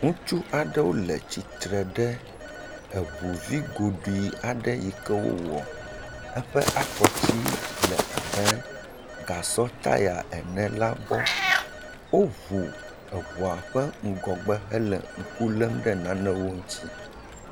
Ŋutsu aɖewo le tsitre ɖe eŋuvi goɖui aɖe yi ke wowɔ, eƒe afɔti le abe gasɔ tya ene la gbɔ, woŋu eŋɔa ƒe ŋgɔgbe eye wole ŋku lé ɖe nanewo ŋuti.